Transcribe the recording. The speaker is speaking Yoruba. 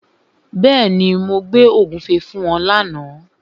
Bẹ́ẹ̀ni, mo gbé ògúnfe fún wọn lána.